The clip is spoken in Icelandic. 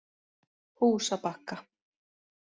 Húsabakka